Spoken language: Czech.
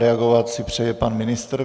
Reagovat si přeje pan ministr.